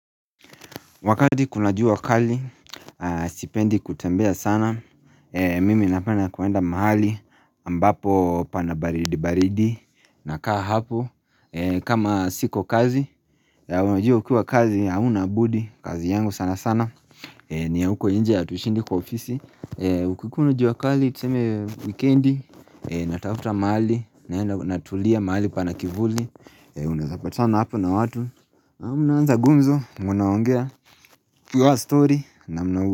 Wakati kuna jua kali, stipendi kutembea sana, mimi napenda kuenda mahali ambapo pana baridi baridi, nakaa hapo, kama siko kazi, ya unajua ukiwa kazi, haunabudi, kazi yangu sana sana, ni ya huko inje ya hatushindi kwa ofisi, ukikuwa na jua kali, tuseme weekendi, natafuta mahali, natulia mahali pana kivuli, unaezapatana hapo na watu, na unaanza gumzo, mnaongea. Kiwa stori na mna.